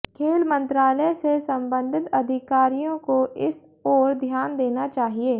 खेल मंत्रालय से संबंधित अधिकारियों को इस ओर ध्यान देना चाहिए